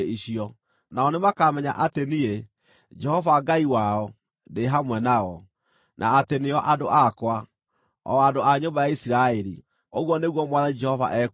Nao nĩmakamenya atĩ niĩ, Jehova Ngai wao, ndĩ hamwe nao, na atĩ nĩo andũ akwa, o andũ a nyũmba ya Isiraeli, ũguo nĩguo Mwathani Jehova ekuuga.